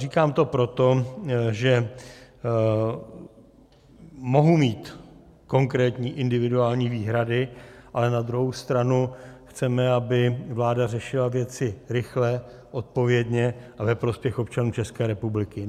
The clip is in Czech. Říkám to proto, že mohu mít konkrétní individuální výhrady, ale na druhou stranu chceme, aby vláda řešila věci rychle, odpovědně a ve prospěch občanů České republiky.